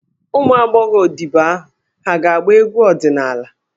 Ụmụ agbọghọ odibo ahụ hà ga-agba egwu ọdịnala?